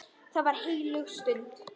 Það var heilög stund.